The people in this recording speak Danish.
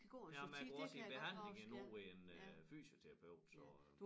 Jamen jeg går også i behandling endnu en øh fysioterapeut så